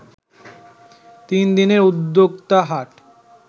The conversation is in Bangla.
তিনদিনের উদ্যোক্তা হাট